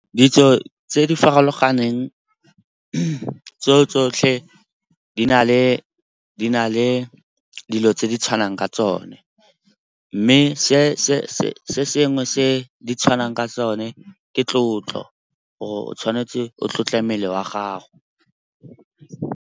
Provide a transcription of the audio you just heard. Ditso tse di farologaneng tse tsotlhe di na le dilo tse di tshwanang ka tsone. Mme se sengwe se di tshwanang ka tsone ke tlotlo, gore o tshwanetse o tlotle mmele wa gago.